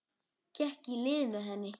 Gekk í lið með henni.